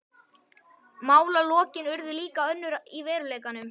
Málalokin urðu líka önnur í veruleikanum.